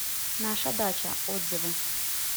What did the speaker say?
наша дача отзывы